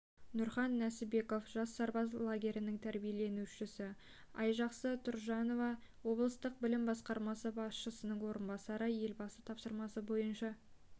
нұрхан нәсібеков жас сарбаз лагерінің тәрбиеленушісі айжақсы тұржанова облыстық білім басқармасы басшысының орынбасары елбасы тапсырмасы бойынша